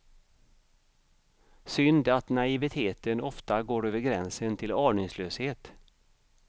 Synd att naiviteten ofta går över gränsen till aningslöshet.